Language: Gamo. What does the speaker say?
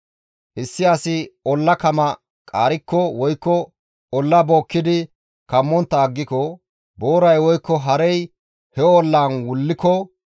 «Issi asi olla kama qaarikko woykko olla bookkidi kammontta aggiko, booray woykko harey he ollaan wulliko,